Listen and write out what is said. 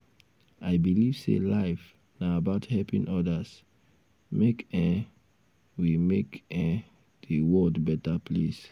i believe sey life na about helping odas make um we make um di world beta place.